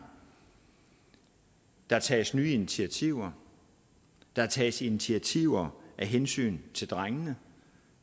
der tages nye initiativer der tages initiativer af hensyn til drengene